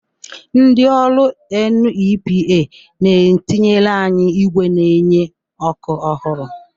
Ndị ọrụ NEPA na-etinyere anyị ígwè na-enye ọkụ ọhụrụ.